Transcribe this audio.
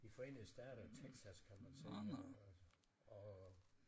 De forende stater Texas kan man se og